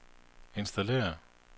installere